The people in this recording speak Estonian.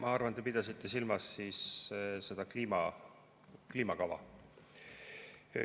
Ma arvan, et te pidasite silmas seda kliimakava.